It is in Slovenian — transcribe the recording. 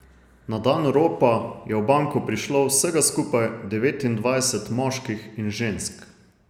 Na dan ropa je v banko prišlo vsega skupaj devetindvajset moških in žensk.